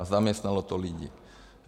A zaměstnalo to lidi.